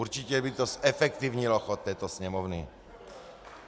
Určitě by to zefektivnilo chod této Sněmovny.